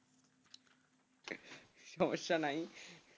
সমস্যা নাই,